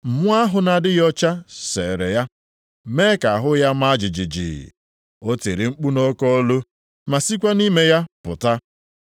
Mmụọ ahụ na-adịghị ọcha seere ya, mee ka ahụ ya maa jijiji, o tiri mkpu nʼoke olu, ma sikwa nʼime ya pụta.